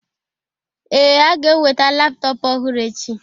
Ee, a ga-eweta laptọọpụ ọhụrụ echi.